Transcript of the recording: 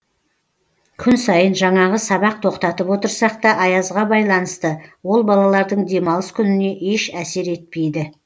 күн сайын жаңағы сабақ тоқтатып отырсақ та аязға байланысты ол балалардың демалыс күніне еш әсер етпейді